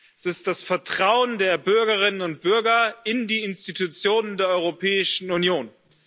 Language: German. Es ist das Vertrauen der Bürgerinnen und Bürger in die Institutionen der Europäischen Union.